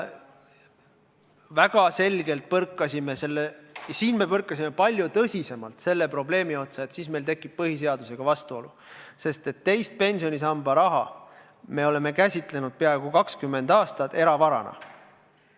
Väga selgelt ja palju tõsisemalt põrkasime siin aga selle probleemi otsa, et siis tekib meil põhiseadusega vastuolu, sest peaaegu 20 aastat oleme me teise pensionisamba raha käsitlenud eravarana.